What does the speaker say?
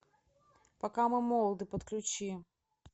пока мы молоды подключи